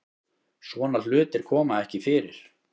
Svona hlutir koma ekki fyrir